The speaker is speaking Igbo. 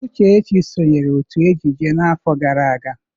Uchechi sonyeere otu ejije n'afọ gara aga.